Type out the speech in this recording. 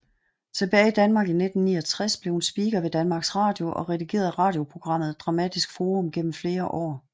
Tilbage i Danmark i 1969 blev hun speaker ved Danmarks Radio og redigerede radioprogrammet Dramatisk Forum gennem flere år